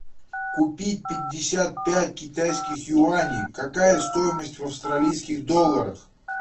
купить пятьдесят пять китайских юаней какая стоимость в австралийских долларах